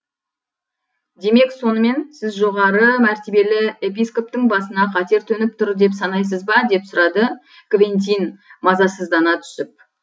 демек сонымен сіз жоғары мәртебелі епископтың басына қатер төніп тұр деп санайсыз ба деп сұрады квентин мазасыздана түсіп